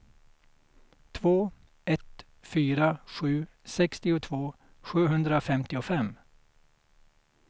två ett fyra sju sextiotvå sjuhundrafemtiofem